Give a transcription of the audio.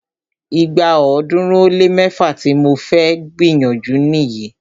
Ìgbà ọ̀ọ́dúnrún ó lé mẹ́fá tí mo fẹ́ gbìyànjú nìyí.